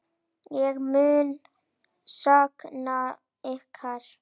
Ég mun sakna ykkar.